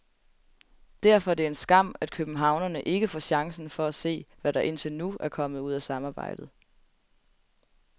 Derfor er det en skam, at københavnerne ikke får chancen for at se, hvad der indtil nu er kommet ud af samarbejdet.